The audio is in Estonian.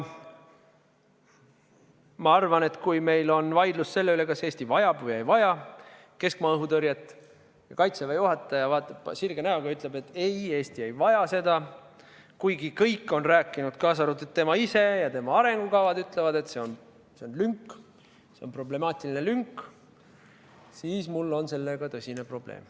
Ma arvan, et kui meil on vaidlus selle üle, kas Eesti vajab või ei vaja keskmaa-õhutõrjet, ja Kaitseväe juhataja ütleb, et ei, Eesti ei vaja seda, kuigi kõik on rääkinud, kaasa arvatud tema ise, ja ka tema arengukavad ütlevad, et see on lünk, see on problemaatiline lünk, siis mul on sellega tõsine probleem.